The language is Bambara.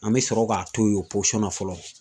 An bɛ sɔrɔ k'a to yen o na fɔlɔ